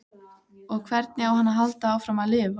Og hvernig á hann að halda áfram að lifa?